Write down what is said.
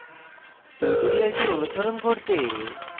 tutorial অনুসরণ করতে